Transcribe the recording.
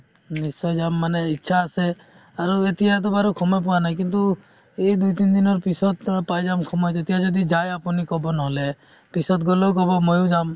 নিশ্চয় যাম মানে ইচ্ছা আছে আৰু এতিয়াতো বাৰু সময় পোৱা নাই কিন্তু এই দুই তিনদিনৰ পিছত অ পাই যাম সময় তেতিয়া যদি যায় আপুনি ক'ব নহ'লে পিছত গ'লেও ক'ব ময়ো যাম